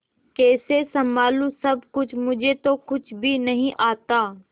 कैसे संभालू सब कुछ मुझे तो कुछ भी नहीं आता